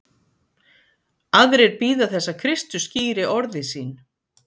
Aðrir bíða þess að Kristur skýri orði sín.